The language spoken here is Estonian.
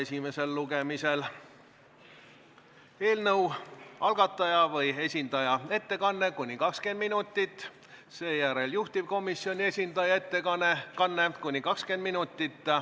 Kõigepealt on eelnõu algataja või esitaja ettekanne kuni 20 minutit, seejärel tuleb juhtivkomisjoni esindaja ettekanne kuni 20 minutit.